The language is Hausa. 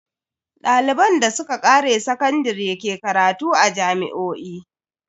Daliban da suka kare sakandare ke karatu a jami'o'i.